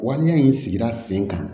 Waleya in sigira sen kan